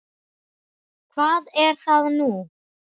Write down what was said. Hvað er það nú?